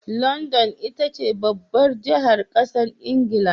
London itace babbar jahar ƙasar ingila